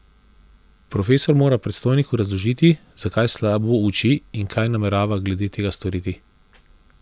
Profesor mora predstojniku razložiti, zakaj slabo uči in kaj namerava glede tega storiti.